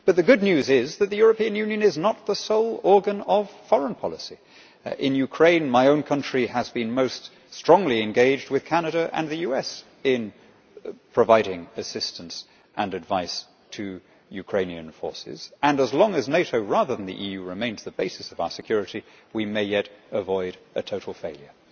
The good news is that the European Union is not the sole organ of foreign policy. In Ukraine, my own country has been most strongly engaged with Canada and the US in providing assistance and advice to Ukrainian forces and, as long as NATO rather than the EU remains the basis of our security, we may yet avoid a total failure.